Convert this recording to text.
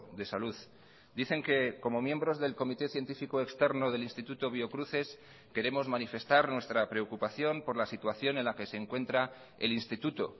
de salud dicen que como miembros del comité científico externo del instituto biocruces queremos manifestar nuestra preocupación por la situación en la que se encuentra el instituto